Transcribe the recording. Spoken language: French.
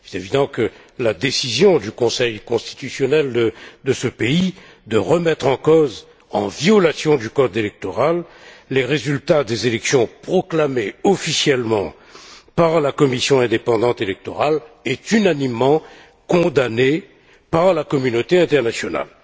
Il est évident que la décision du Conseil constitutionnel de ce pays de remettre en cause, en violation du code électoral, les résultats des élections proclamés officiellement par la commission indépendante électorale est unanimement condamnée par la communauté internationale.